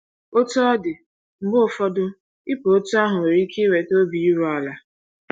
Otú ọ dị, mgbe ụfọdụ ịpụ otú ahụ nwere ike iweta obi iru ala.